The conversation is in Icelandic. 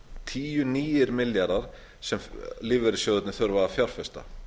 tíu nýir milljarðar sem lífeyrissjóðirnir þurfa að fjárfesta